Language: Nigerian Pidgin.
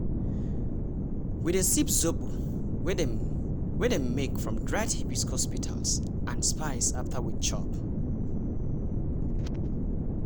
we dey sip zobo wey dem wey dem make from dried hibiscus petals and spice after we chop.